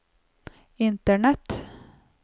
internett